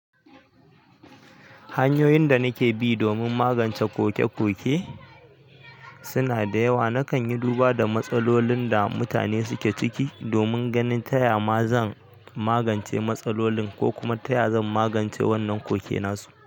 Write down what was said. Hanyoyin da nake bi domin magance koke-koke suna da yawa. Nakan yi duba da matsalolin da mutane suke ciki domin ganin ta ya ma zan magance matsalolin ko kuma ta ya zan magance wannan kokenansu.